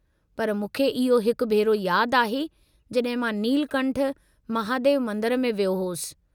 पर मूंखे इहो हिक भेरो यादु आहे जॾहिं मां नीलकंठ महादेव मंदरु में वयो होसि।